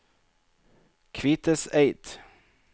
Kviteseid